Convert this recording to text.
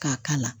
K'a kala